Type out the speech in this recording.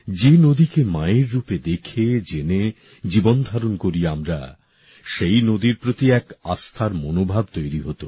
যে নদীকে মায়ের রূপে দেখে জেনে জীবনধারণ করি আমরা সেই নদীর প্রতি এক আস্থার মনোভাব তৈরি হত